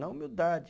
Na humildade.